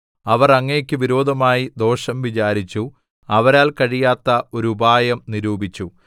അവർ അങ്ങേക്കു വിരോധമായി ദോഷം വിചാരിച്ചു അവരാൽ കഴിയാത്ത ഒരു ഉപായം നിരൂപിച്ചു